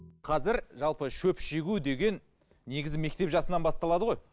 қазір жалпы шөп шегу деген негізі мектеп жасынан басталады ғой